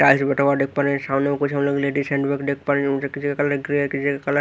किसी का colour grey है किसी का कलर --